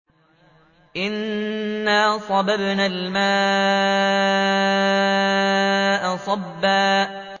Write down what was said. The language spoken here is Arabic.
أَنَّا صَبَبْنَا الْمَاءَ صَبًّا